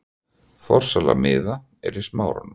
Forsala miða er í Smáranum.